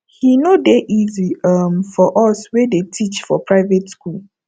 he no dey easy um for us wey dey teach for private school